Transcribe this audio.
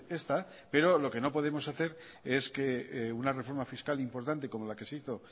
esta pero lo que no podemos hacer es que una reforma fiscal importante como la que se hizo